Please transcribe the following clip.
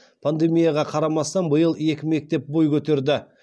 пандемияға қарамастан биыл екі мектеп бой көтерді